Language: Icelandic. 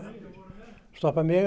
stoppar mig